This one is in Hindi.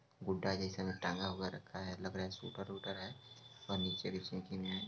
गुदा जैसे में टेंगा हुआ रखा है| लग रहा है स्वेटर वुटर है और नेचे भी है।